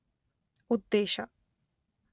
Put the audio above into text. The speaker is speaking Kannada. ಉದ್ದೇಶ